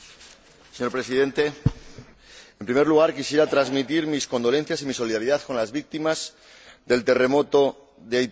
Señor Presidente, en primer lugar, quisiera transmitir mis condolencias y mi solidaridad con las víctimas del terremoto de Haití.